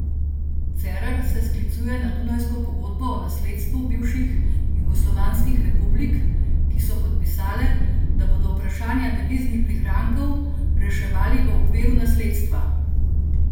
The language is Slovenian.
Cerar se sklicuje na dunajsko pogodbo o nasledstvu bivših jugoslovanskih republik, ki so podpisale, da bodo vprašanja deviznih prihrankov reševali v okviru nasledstva.